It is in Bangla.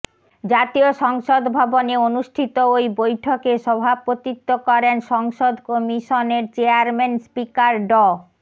জাতীয় সংসদ ভবনে অনুষ্ঠিত ওই বৈঠকে সভাপতিত্ব করেন সংসদ কমিশনের চেয়ারম্যান স্পিকার ড